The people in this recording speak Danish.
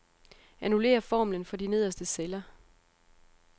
Annullér formlen for de nederste celler.